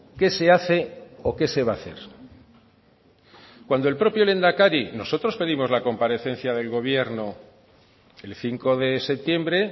qué se hace o qué se va a hacer cuando el propio lehendakari nosotros pedimos la comparecencia del gobierno el cinco de septiembre